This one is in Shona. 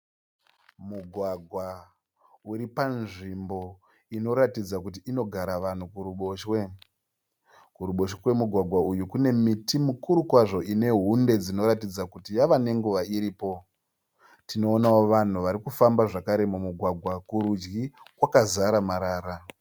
Mugwagwa uri panzvimbo inoratidza kuti inogara vanhu kuruboshwe. Kuruboshwe kwemugwagwa uyu kune miti mikuru kwazvo ine hunde dzinoratidza kuti yava nenguva iripo. Tinoonawo vanhu varikufamba zvakare mumugwagwa, kurudyi kwakazara marara.